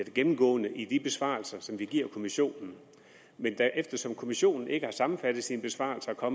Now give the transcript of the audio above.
gennemgående i de besvarelser som vi giver kommissionen men eftersom kommissionen ikke har sammenfattet sine besvarelser og